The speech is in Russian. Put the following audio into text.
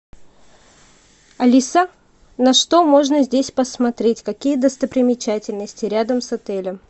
алиса на что можно здесь посмотреть какие достопримечательности рядом с отелем